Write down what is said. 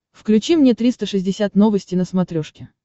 включи мне триста шестьдесят новости на смотрешке